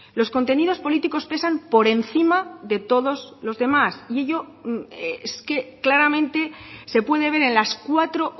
los contenidos políticos pesan por encima de todos los demás y ello es que claramente se puede ver en las cuatro